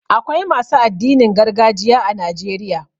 Akwai masu addinin gargajiya a Najeriya.